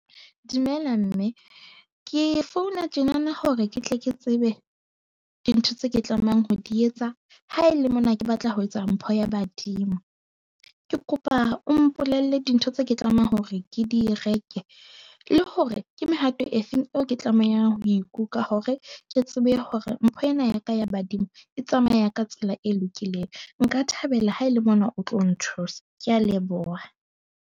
Dumela mme, ke founa tjena na hore ke tle ke tsebe dintho tse ke tlamehang ho di etsa ha ele mona, ke batla ho etsa mpho ya badimo. Ke kopa o mpolelle dintho tse ke tlamehang hore ke di reke le hore ke mehato e feng eo ke tlamehang ho e hore, ke tsebe hore mpho ena ya ka ya badimo e tsamaya ka tsela e lokileng. Nka thabela ha ele mona o tlo nthusa. Ke a leboha.